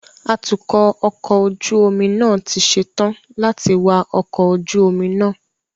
Atukọ ọkọ ojú omi náà ti ṣe tán láti wạ ọkọ̀ ojú omi náà